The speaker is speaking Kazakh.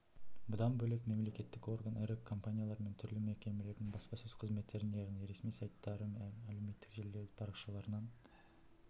бұдан бөлек мемлекеттік орган ірі компаниялар мен түрлі мекемелердің баспасөз қызметтерін яғни ресми сайттары мен әлеуметтік желілердегі парақшаларынан